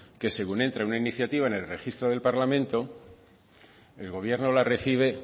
que según entra una iniciativa en el registro del parlamento el gobierno la recibe